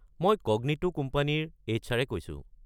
মই ক’গনিটো কোম্পানীৰ এইচ.আৰ.-এ কৈছো।